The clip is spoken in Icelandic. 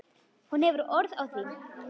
Hún hefur orð á því.